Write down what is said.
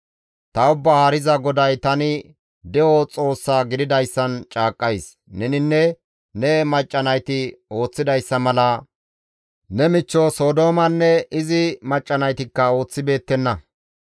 Ta Ubbaa Haariza GODAY tani de7o Xoossa gididayssan caaqqays: Neninne ne macca nayti ooththidayssa mala ne michcho Sodoomanne izi macca naytikka ooththibeettenna.